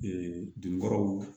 dugukolow